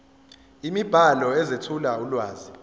imibhalo ezethula ulwazi